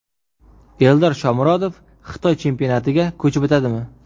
Eldor Shomurodov Xitoy chempionatiga ko‘chib o‘tadimi?